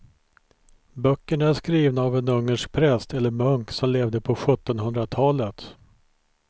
Böckerna är skrivna av en ungersk präst eller munk som levde på sjuttonhundratalet.